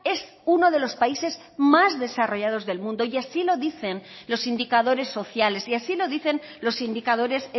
es uno de los países más desarrollados del mundo y así lo dicen los indicadores sociales y así lo dicen los indicadores